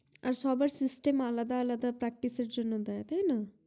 আর সবার system আলাদা আলাদা practice এর জন্য দেয় তাই না